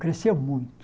Cresceu muito.